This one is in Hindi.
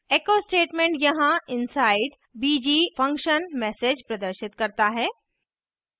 echo statement यहाँ inside bg _ function message प्रदर्शित करता है